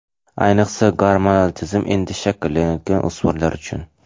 Ayniqsa gormonal tizim endi shakllanayotgan o‘smirlar uchun.